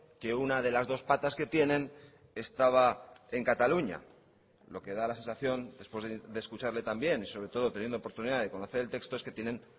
que una de las dos patas que tienen estaba en cataluña lo que da la sensación después de escucharle también y sobre todo teniendo oportunidad de conocer el texto es que tienen